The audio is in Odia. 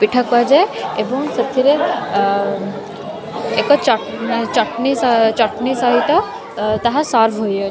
ପିଠା କୁହାଯାଏ ଏବଂ ସେଥିରେ ଅ ଏକ ଚ ଚଟ୍ନି ସ ଚଟ୍ନି ସହିତ ଅ ତାହା ସର୍ଭ୍ ହେଇଅ --